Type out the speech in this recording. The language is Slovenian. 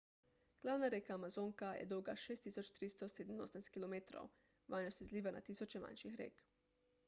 glavna reka amazonka je dolga 6387 km 3980 milj. vanjo se izliva na tisoče manjših rek